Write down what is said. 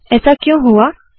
ऐसा क्यों हुआ160